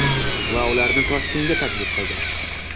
Va ularni Toshkentga taklif qildim.